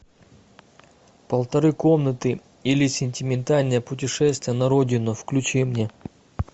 полторы комнаты или сентиментальное путешествие на родину включи мне